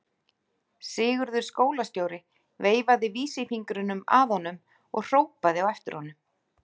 Sigurður skólastjóri veifaði vísisfingrinum að honum og hrópaði á eftir honum.